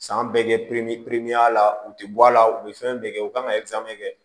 San bɛɛ kɛ la u tɛ bɔ a la u bɛ fɛn bɛɛ kɛ u kan ka kɛ